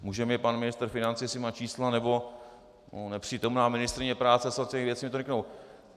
Může mi pan ministr financí, jestli má čísla, nebo nepřítomná ministryně práce a sociálních věcí, mi to řeknou.